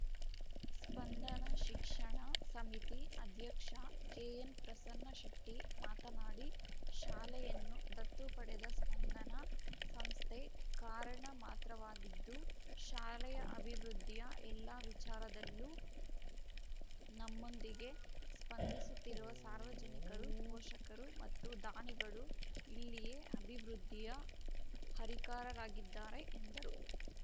ಸ್ಪಂದನ ಶಿಕ್ಷಣ ಸಮಿತಿ ಅಧ್ಯಕ್ಷ ಕೆಎನ್‌ ಪ್ರಸನ್ನಶೆಟ್ಟಿಮಾತನಾಡಿ ಶಾಲೆಯನ್ನು ದತ್ತು ಪಡೆದ ಸ್ಪಂದನ ಸಂಸ್ಥೆ ಕಾರಣ ಮಾತ್ರವಾಗಿದ್ದು ಶಾಲೆಯ ಅಭಿವೃದ್ಧಿಯ ಎಲ್ಲ ವಿಚಾರದಲ್ಲೂ ನಮ್ಮೊಂದಿಗೆ ಸ್ಪಂದಿಸುತ್ತಿರುವ ಸಾರ್ವಜನಿಕರು ಪೋಷಕರು ಮತ್ತು ದಾನಿಗಳು ಇಲ್ಲಿಯ ಅಭಿವೃದ್ಧಿಯ ಹರಿಕಾರರಾಗಿದ್ದಾರೆ ಎಂದರು